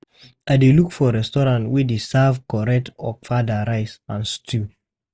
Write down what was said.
I dey look for restaurant wey dey serve correct ofada rice and stew.